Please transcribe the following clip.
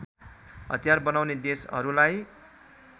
हतियार बनाउने देशहरूलाई